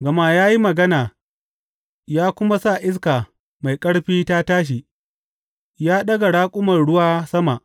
Gama ya yi magana ya kuma sa iska mai ƙarfi ta tashi ya ɗaga raƙuman ruwa sama.